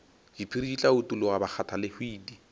diphiri di tla utologa bakgathalehwiti